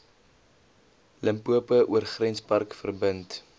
limpopo oorgrenspark verbind